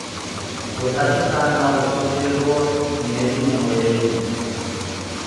Gũtahĩka nogũcũngĩrĩrio nĩ thumu mwĩrĩ-inĩ